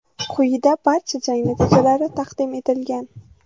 Quyida barcha jang natijalari taqdim etilgan.